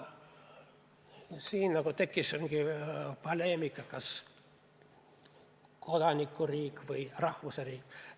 Siin nagu tekkis mingi poleemika, kas meil on kodanike riik või rahvuse riik.